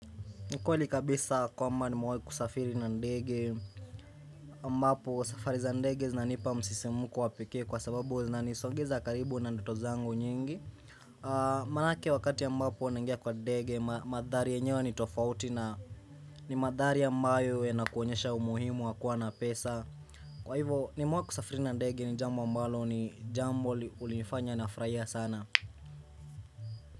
Ni kweli kabisa kwamba nimewahi kusafiri na ndege ambapo safari za ndege zinanipa msisimuku wa pekee kwa sababu zinanisogeza karibu na ndoto zangu nyingi Manake wakati ambapo nangia kwa ndege madhari yenyewe ni tofauti na ni madhari ambayo yanakuonyesha umuhimu wa kuwa na pesa Kwa hivo ni mawe kusafiri na ndege ni jambo ambalo ni jambo hunifanya nafurahia sana.